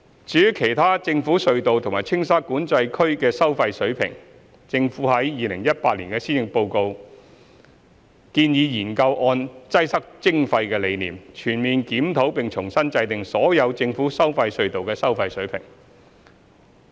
至於其他政府隧道和青沙管制區的收費水平，政府在2018年施政報告中建議研究按"擠塞徵費"的理念，全面檢討並重新制訂所有政府收費隧道的收費水平。